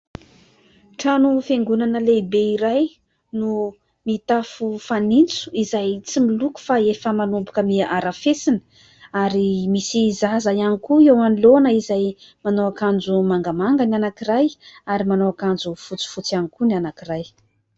Trano fiangonana lehibe iray no mitafo fanitso izay tsy miloko fa efa manomboka miha arafesina ary misy zaza ihany koa eo anoloana izay manao akanjo mangamanga ny anankiray ary manao akanjo fotsifotsy ihany koa ny anankiray.